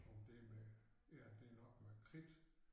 Om det med ja det nok med kridt